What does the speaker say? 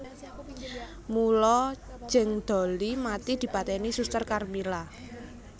Mula Jeng Dollie mati dipateni Suster Karmila